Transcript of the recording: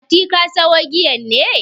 Mati, ka sayo giyan ne?